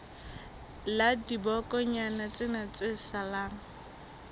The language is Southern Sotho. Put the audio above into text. la dibokonyana tsena tse salang